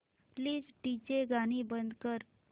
please DJ गाणी बंद कर